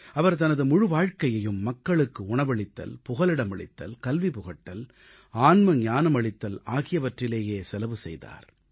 அவர் தனது முழு வாழ்க்கையையும் மக்களுக்கு உணவளித்தல் புகலிடமளித்தல் கல்வி புகட்டல் ஆன்மீக ஞானமளித்தல் ஆகியவற்றிலேயே செலவு செய்தார்